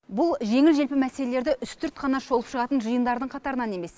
бұл жеңіл желпі мәселелерді үстірт қана шолып шығатын жиындардың қатарынан емес